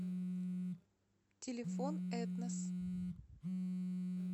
телефон этнос